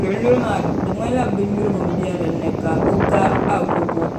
luɣuluɣu maa din ŋmanila binnyurigu m-be din ni ka o ga agogoEdit (Resolution)